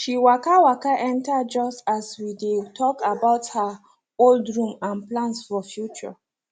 she waka waka enter just as we dey talk about her old room and plans for future